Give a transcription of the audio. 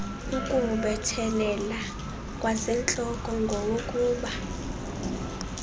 ukuwubethelela kwasentloko ngowokuba